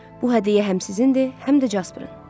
Bu hədiyyə həm sizindir, həm də Jasparın.